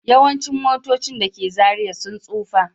Yawancin motocin da ke Zariya sun tsufa